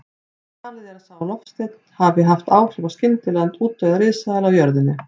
Talið er að sá loftsteinn hafi haft áhrif á skyndilegan útdauða risaeðla á jörðinni.